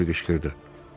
Harvi qışqırdı.